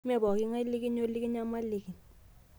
Mee pooki ng'ae likinyorr nikinyamaliki